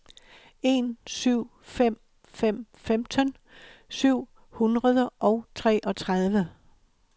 en syv fem fem femten syv hundrede og treogtredive